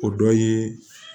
O dɔ ye